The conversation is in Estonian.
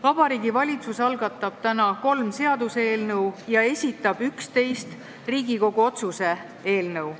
Vabariigi Valitsus algatab täna 3 seaduseelnõu ja esitab 11 Riigikogu otsuse eelnõu.